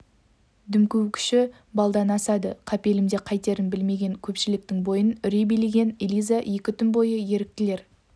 дүмпу күші балдан асады қапелімде қайтерін білмеген көпшіліктің бойын үрей билеген элиза екі түн бойы еріктілер